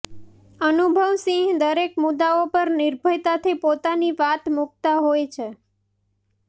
અનુભવ સિંહ દરેક મુદ્દાઓ પર નિર્ભયતાથી પોતાની વાત મુકતા હોય છે